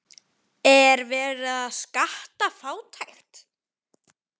Er verið að skatta fátækt?